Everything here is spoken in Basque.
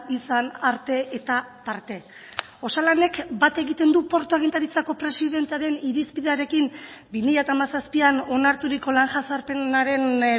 izan arte eta parte osalanek bat egiten du portu agintaritzako presidentearen irizpidearekin bi mila hamazazpian onarturiko lan jazarpenaren